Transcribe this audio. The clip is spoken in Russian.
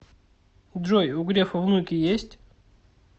джой у грефа внуки есть